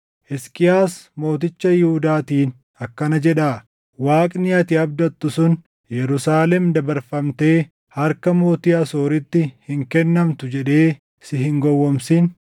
“Hisqiyaas mooticha Yihuudaatiin akkana jedhaa: Waaqni ati abdattu sun, ‘Yerusaalem dabarfamtee harka mootii Asooritti hin kennamtu’ jedhee si hin gowwoomsin.